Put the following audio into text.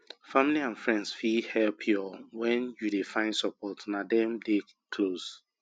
family and friends fit help your when you dey find support na dem dey close